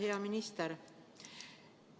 Hea minister!